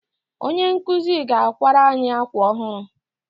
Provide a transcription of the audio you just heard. Onye nkụzi ga-akwara anyị akwa ọhụrụ.